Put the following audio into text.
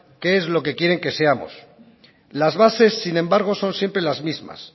que es lo que quieren que seamos las bases sin embargo son siempre las mismas